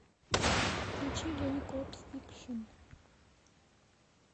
включи ленни код фикшн